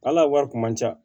Ala wari kun man ca